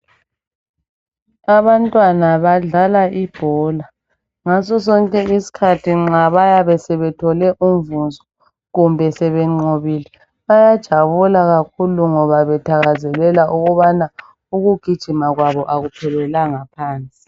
Abantwana badlala ibhola ngasosonke isikhathi nxa bayabe sebethole umvuzo kumbe sebenqobile bayajabula kakhulu ngoba bethakazelela ukuba ukugijima kwabo akuphelelanga phansi.